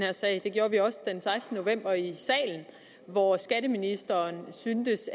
her sag det gjorde vi også den sekstende november i salen hvor skatteministeren syntes